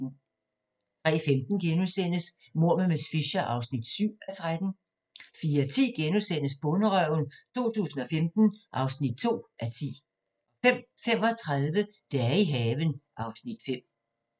03:15: Mord med miss Fisher (7:13)* 04:10: Bonderøven 2015 (2:10)* 05:35: Dage i haven (Afs. 5)